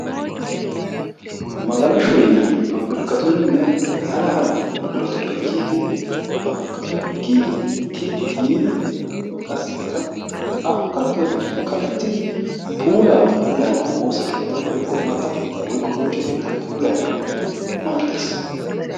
Magalashoy pappirkkatunninne hara hara buquratuppe giiggidi pappirkkatun kiyid yiidi giiggidi qassikka a kaqqiyobatun kaqqetidi puulaa puulayanawu woossaa keettaa woykko imata keettaa woykko bonchcho keettaa puulayanawu maaddees.